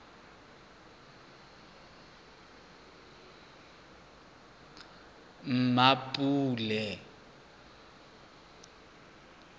mmapule